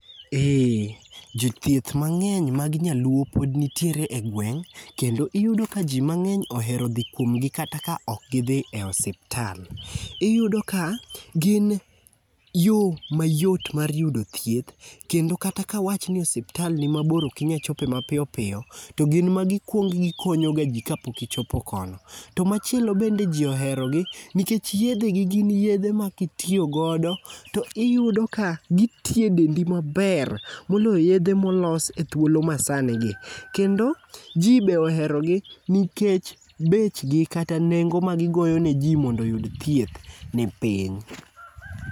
Ee, Jothieth mangény mag nyaluo pod nitiere e gweng'. Kendo iyudo ka ji mangény ohero dhi kuomgi kata ka ok gidhi e osiptal. Iyudo ka gin yo ma yot mar yudo thieth, kendo kata ka awacha ni osiptal ni mabor okinyal chope ma piyo piyo, to gin ma gikuongo gikonyo ga ji ka pok ichopo kono. To machielo bende ji oherogi, nikech yiedhe gi gin yiedhe ma kitiyo godo to iyudo ka gitiyo e dendi maber, moloyo yiedhe ma olos e thuolo ma sani gi. Kendo ji be ohero gi, nikech bechgi kata nengo ma gigoyo ne ji mondo oyud thieth ni piny.